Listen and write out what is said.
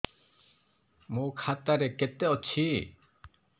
ମୋ ଖାତା ରେ କେତେ ଅଛି